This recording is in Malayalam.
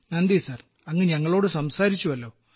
നന്ദി സർ അങ്ങ് ഞങ്ങളോട് സംസാരിച്ചുവല്ലോ